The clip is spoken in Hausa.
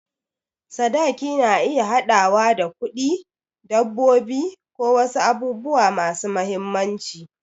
Sadaki na iya haɗawa da kuɗi, dabbobi, ko wasu abubuwa masu mahimmanci.